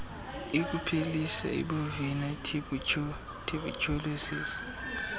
yokuphelisa ibovine tuberculosis